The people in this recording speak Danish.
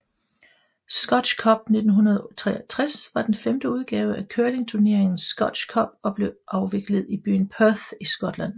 Scotch Cup 1963 var den femte udgave af curlingturneringen Scotch Cup og blev afviklet i byen Perth i Skotland